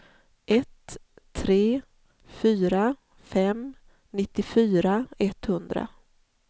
ett tre fyra fem nittiofyra etthundra